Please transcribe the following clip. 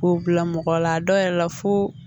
K'o bila mɔgɔ la a dɔw yɛrɛ la fo